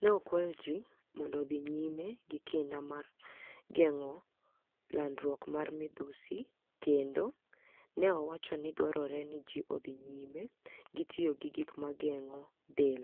ni e okwayo ji monido odhi niyime gi kinida mar genig'o lanidruok mar midhusi kenido ni e owacho ni dwarore ni ji odhi niyime gi tiyo gi gik ma genig'o del,